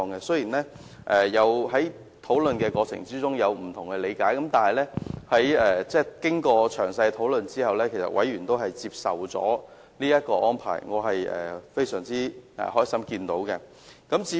雖然委員在討論過程中有不同理解，但經過詳細討論後，委員均接受這個安排，這是我很高興看到的。